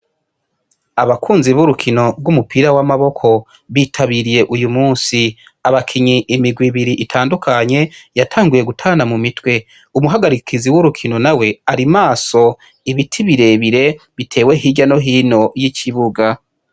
Abakunzi b'urukino bw'umupira w'amaboko bitabiriye uyu musi abakinyi imigwa ibiri itandukanye yatanguye gutana mu mitwe umuhagarikizi w'urukino na we ari maso ibiti birebire, bitewe hirya no hino y'ikibuga.